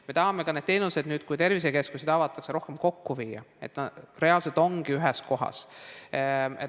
Me tahame need teenused nüüd, kui tervisekeskused avatakse, rohkem kokku viia, et need reaalselt oleksid ühes kohas.